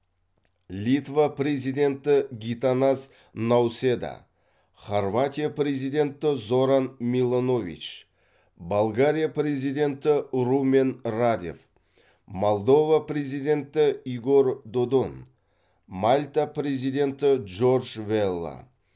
литва президенті гитанас науседа хорватия президенті зоран миланович болгария президенті румен радев молдова президенті игорь додон мальта президенті джордж велла